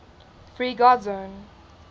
free guard zone